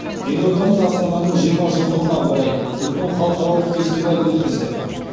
елордамыз астананың жиырма жылдығына орай үлкен халықаралық фестиваль өткіздік